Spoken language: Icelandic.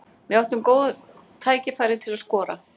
Við áttum góð tækifæri til að skora.